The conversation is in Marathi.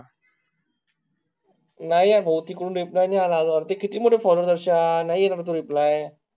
नाई आ भाऊ तिकडून reply नाई आला आजून, ते किती मध्ये follow कार्श्य नाई येणार ए तो reply